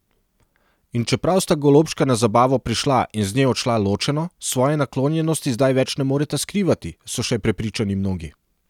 In čeprav sta golobčka na zabavo prišla in z nje odšla ločeno, svoje naklonjenosti zdaj več ne moreta skrivati, so še prepričani mnogi.